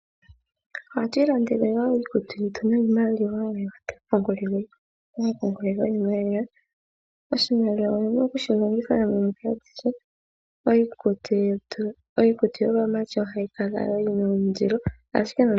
Ohatu ilandele iikutu yetu niimaliwa mbyoka hatu ipungulile koma pungulilo giimaliwa. Oshimaliwa oho vulu oku shi longitha ethimbo alihe. Iikutu yaamati ohayi kala yina ondilo.